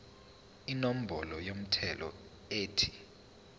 inombolo yomthelo ethi